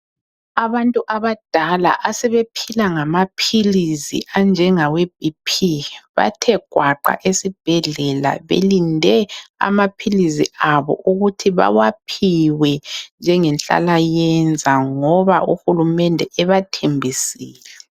Abantu abadala asebephila ngamaphilisi anjengaweBP bathe gwaqa esibhedlela belinde amaphilisi abo ukuthi bawaphiwe njengenhlalayenza ngoba uhulumende ebathembisile.